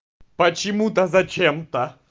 почему-то зачем-то